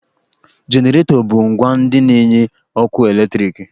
Jeneratọ bu ǹgwá ndị na-enye ọkụ eletriki